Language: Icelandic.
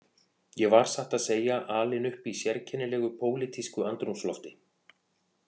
Ég var satt að segja alinn upp í sérkennilegu pólitísku andrúmslofti